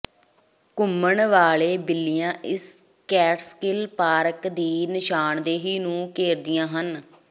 ਘੁੰਮਣ ਵਾਲੇ ਬਿੱਲੀਆਂ ਇਸ ਕੈਟਸਕਿੱਲ ਪਾਰਕ ਦੀ ਨਿਸ਼ਾਨਦੇਹੀ ਨੂੰ ਘੇਰਦੀਆਂ ਹਨ